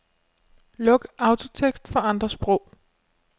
Luk autotekst for andre sprog.